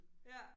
Ja